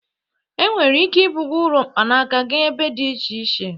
Enwere ike ibuga ụlọ mkpanaka gaa ebe dị iche iche.